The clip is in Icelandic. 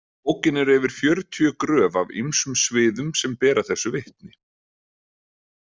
Í bókinni eru yfir fjörutíu gröf af ýmsum sviðum sem bera þessu vitni.